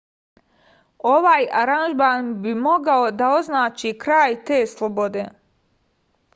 ovaj aranžman bi mogao da označi kraj te slobode